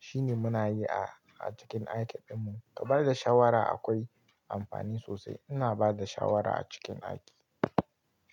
shine muna yi a, a cikin aiki ɗinmu. Ka ba da shawara akwai amfani sosai. Ina bada shawara a cikin aiki.